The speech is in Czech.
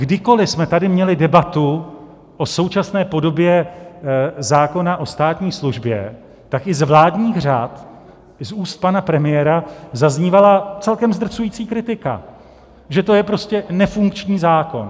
Kdykoli jsme tady měli debatu o současné podobě zákona o státní službě, tak i z vládních řad, i z úst pana premiéra zaznívala celkem zdrcující kritika, že to je prostě nefunkční zákon.